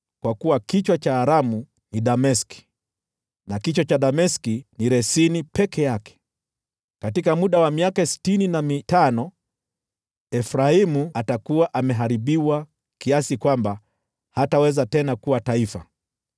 kwa kuwa kichwa cha Aramu ni Dameski, na kichwa cha Dameski ni Resini peke yake. Katika muda wa miaka sitini na mitano, Efraimu atakuwa ameharibiwa kiasi kwamba hataweza tena kuwa taifa.